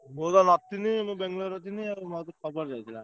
ମୁଁ ତ ନଥିଲି ବାଙ୍ଗେଲୋରରେ ଥିଲି ଆଉ ମତେ ଖବର ଦେଇଥିଲା।